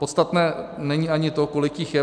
Podstatné není ani to, kolik jich je.